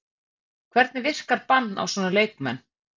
Hvernig virkar bann á svona leikmenn?